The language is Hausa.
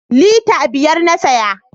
Lita biyar na saya